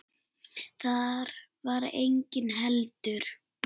Þar var enginn heldur.